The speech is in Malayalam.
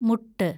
മുട്ട്